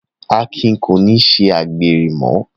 Akin kò ní ṣe àgbèrè mọ́